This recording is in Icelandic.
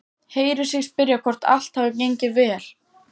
Heyrir sig spyrja hvort allt hafi gengið vel.